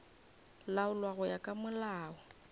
laolwa go ya ka molao